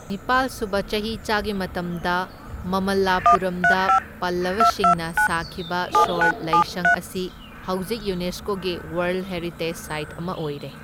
ꯅꯤꯄꯥꯜ ꯁꯨꯕ ꯆꯍꯤꯆꯥꯒꯤ ꯃꯇꯝꯗ ꯃꯃꯜꯂꯥꯄꯨꯔꯝꯗ ꯄꯜꯂꯕꯁꯤꯡꯅ ꯁꯥꯈꯤꯕ ꯁꯣꯔ ꯂꯩꯏꯁꯪ ꯑꯁꯤ ꯍꯧꯖꯤꯛ ꯌꯨꯅꯦꯁꯀꯣꯒꯤ ꯋꯔꯜꯗ ꯍꯦꯔꯤꯇꯦꯖ ꯁꯥꯏꯠ ꯑꯃ ꯑꯣꯏꯔꯦ꯫